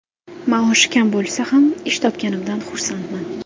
Maoshi kam bo‘lsa ham, ish topganimdan xursandman.